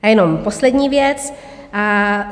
A jenom poslední věc.